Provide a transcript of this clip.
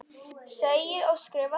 Segi og skrifa það.